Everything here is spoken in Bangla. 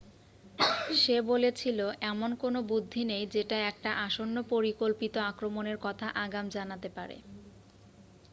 "সে বলেছিল "এমন কোনো বুদ্ধি নেই যেটা একটা আসন্ন পরিকল্পিত আক্রমণের কথা আগাম জানাতে পারে।""